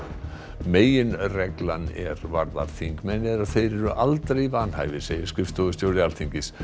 meginreglan er varðar þingmenn er að þeir eru aldrei vanhæfir segir skrifstofustjóri Alþingis